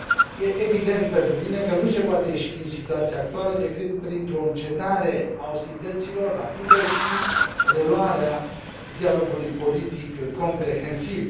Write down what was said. E evident pentru mine că nu se poate ieși din situația actuală decât printr o încetare a ostilităților rapidă și reluarea dialogului politic comprehensiv.